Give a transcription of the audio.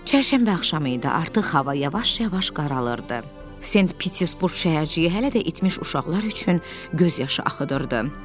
Çərşənbə axşamı idi, artıq hava yavaş-yavaş qaralırdı, Sent-Pitersburq şəhərciyi hələ də itmiş uşaqlar üçün göz yaşı axıdırdı.